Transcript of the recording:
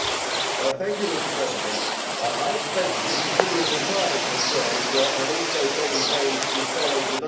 Mr President, I have spent some considerable time in Croatia and also taken pains to follow developments there.